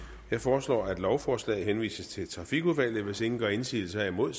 jeg foreslår at lovforslaget henvises til trafikudvalget hvis ingen gør indsigelse herimod